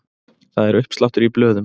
Það er uppsláttur í blöðum.